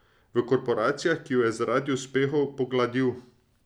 V korporacijah, ki ju je zaradi uspehov pogladil.